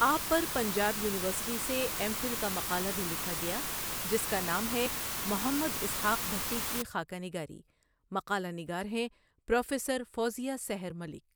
آپ پر پنجاب یونیورسٹی سے ایم فل کا مقالہ بهی لکها گیا ہے جس کا نام ہے محمد اسحاق بهٹی کی خاکہ نگاری، مقالہ نگار ہیں پروفیسر فوزیہ سحر ملک۔